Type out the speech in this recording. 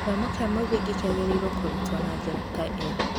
Gĩthomo kĩa mũthingi kĩagĩrĩirũo kũrutwo na njĩra ta ĩyo.